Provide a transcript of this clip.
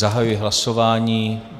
Zahajuji hlasování.